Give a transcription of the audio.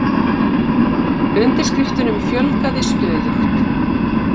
Undirskriftunum fjölgaði stöðugt